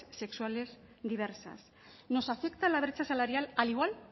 sexuales diversas nos afecta la brecha salarial al igual